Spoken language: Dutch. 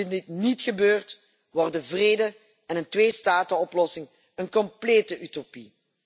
Indien dit niet gebeurt, worden vrede en een tweestatenoplossing een complete utopie.